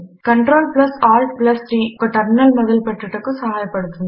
CtrlaltT ఉబంటులో ఒక terminal మొదలు పెట్టుటకు సహాయపడుతుంది